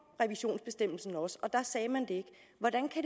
revisionsbestemmelsen også og der sagde man det